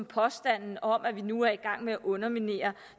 påstanden om at vi nu er i gang med at underminere